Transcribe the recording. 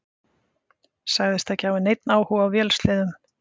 Sagðist ekki hafa neinn áhuga á vélsleðum.